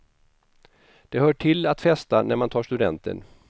Det hör till att festa när man tar studenten.